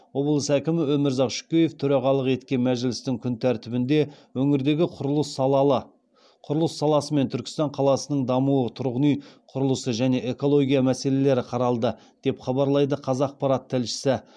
облыс әкімі өмірзақ шөкеев төрағалық еткен мәжілістің күн тәртібінде өңірдегі құрылыс саласы мен түркістан қаласының дамуы тұрғын үй құрылысы және экологиялық мәселелер қаралды деп хабарлайды қазақпарат тілшісі